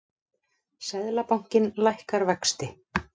Seðlabankinn lækkar vexti